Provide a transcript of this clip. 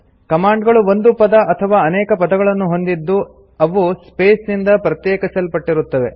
command ಗಳು ಒಂದು ಪದ ಅಥವಾ ಅನೇಕ ಪದಗಳನ್ನು ಹೊಂದಿದ್ದು ಅವು ಸ್ಪೇಸ್ ನಿಂದ ಪ್ರತ್ಯೇಕಿಸಲ್ಪಟ್ಟಿರುತ್ತವೆ